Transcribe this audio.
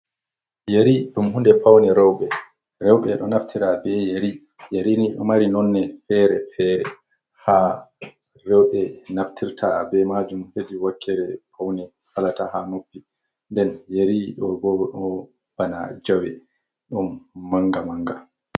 Yeri ɗum hunɗe paune rewɓe ,rewɓe ɗo naftira ɓe yeri yeri ni ɗo mari nonne fere fere ,ha rewɓe naftirta be majum hedi wakkere paune, halata ha nuppi den yeri ɗo ɓo ɗo bana jawe ɗum manga manga.